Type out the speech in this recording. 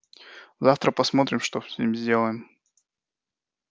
завтра посмотрим что с ним сделаем